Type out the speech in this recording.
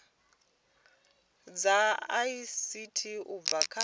dza ict u bva kha